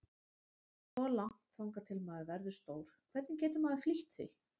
Svo langt þangað til maður verður stór, hvernig getur maður flýtt því?